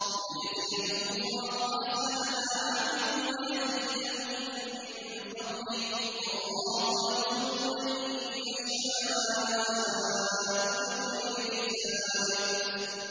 لِيَجْزِيَهُمُ اللَّهُ أَحْسَنَ مَا عَمِلُوا وَيَزِيدَهُم مِّن فَضْلِهِ ۗ وَاللَّهُ يَرْزُقُ مَن يَشَاءُ بِغَيْرِ حِسَابٍ